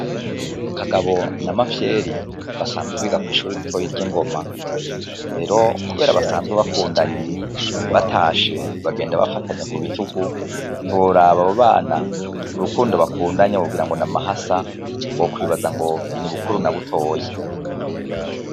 Kagabo na Mafyeri basanzwe biga kw'ishure ritoyi ry'i Ngoma. Rero kubera basanzwe bakundanye, batashe bagenda bafatanye ku bitugu, ntiworaba abo bana, urukundo bakundanye wogira ngo ni amahasa, wokwibaza ngo ni Bukuru na Butoyi.